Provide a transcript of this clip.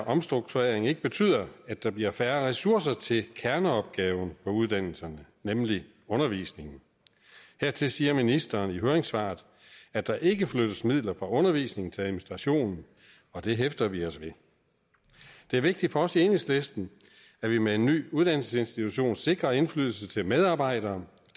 omstrukturering ikke betyder at der bliver færre ressourcer til kerneopgaven på uddannelserne nemlig undervisningen hertil siger ministeren i høringsnotatet at der ikke flyttes midler fra undervisning til administration og det hæfter vi os ved det er vigtigt for os i enhedslisten at vi med en ny uddannelsesinstitution sikrer indflydelse til medarbejdere